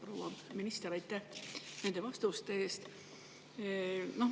Proua minister, aitäh nende vastuste eest!